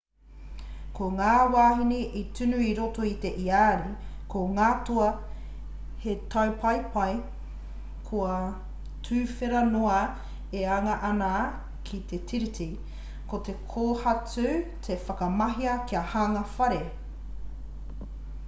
ko ngā wāhine i tunu i roto i te iāri ko ngā toa he taupaepae kua tuwhera noa e anga ana ki te tiriti ko te kōhatu i whakamahia kia hanga whare